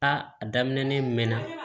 A daminɛ mɛn na